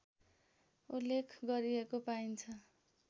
उल्लेख गरिएको पाइन्छ